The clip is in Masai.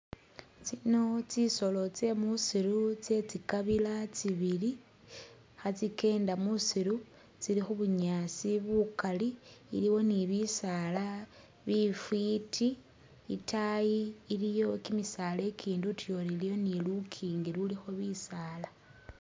Tsino tsisolo tsemusiru tsetsi kabila tsibili khatsikenda musiru tsili khubunyaasi bukaali iliwo ni bisaala bifwiti itaayi iliyo kimisaala ikindi utuyori iliwo ni lunkingi lulikho bisaala